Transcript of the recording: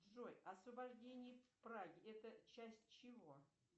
джой освобождение праги это часть чего